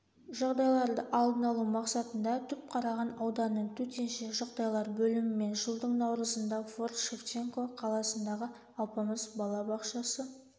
жағдайларды алдын алу мақсатында түпқараған ауданының төтенше жағдайлар бөлімімен жылдың наурызында форт-шевченко қаласындағы алпамыс бала-бақшасы